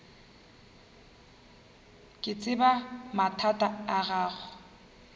ke tseba mathata a gago